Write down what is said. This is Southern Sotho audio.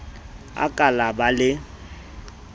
a ka la ba le